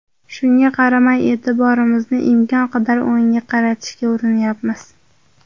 Shunga qaramay, e’tiborimizni imkon qadar o‘yinga qaratishga urinyapmiz.